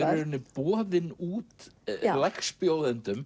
boðin út